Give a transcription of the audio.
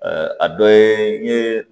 a dɔ ye